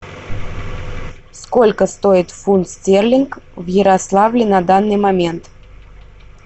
сколько стоит фунт стерлинг в ярославле на данный момент